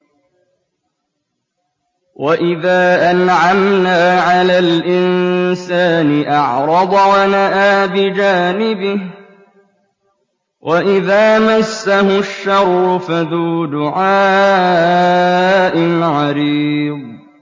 وَإِذَا أَنْعَمْنَا عَلَى الْإِنسَانِ أَعْرَضَ وَنَأَىٰ بِجَانِبِهِ وَإِذَا مَسَّهُ الشَّرُّ فَذُو دُعَاءٍ عَرِيضٍ